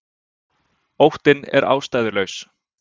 Óttinn er ástæðulaus.